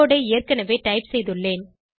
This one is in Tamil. கோடு ஐ ஏற்கனவே டைப் செய்துள்ளேன்